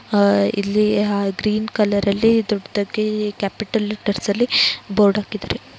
hi ಇಲ್ಲಿ ಹಾ green colour ನಲ್ಲಿ ದೊಡ್ಡಕೆ ಕ್ಯಾಪಿಟಲ್‌ ದರಸ್ಸಾಲ್ಲಿ ಬೋರ್ಡ್‌ ಹಾಕಿದ್ದಾರೆ